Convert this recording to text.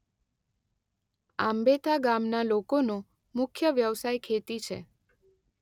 આંબેથા ગામના લોકોનો મુખ્ય વ્યવસાય ખેતી છે.